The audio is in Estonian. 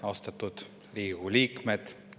Austatud Riigikogu liikmed!